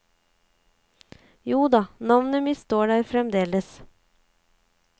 Joda, navnet mitt sto der fremdeles.